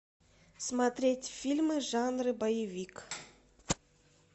смотреть фильмы жанра боевик